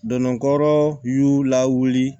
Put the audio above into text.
Donna kɔrɔ y y'u lawuli